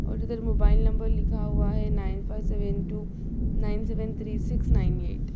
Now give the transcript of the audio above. और mobile number लिखा हुआ है nine five seven two nine seven three six nine eight.